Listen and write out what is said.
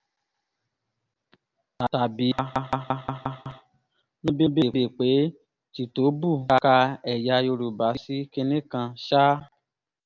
ka ẹ̀yà yorùbá sí kinní kan ṣáá